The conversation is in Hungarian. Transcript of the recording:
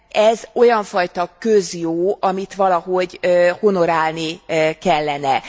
Ez olyan fajta közjó, amit valahogy honorálni kellene.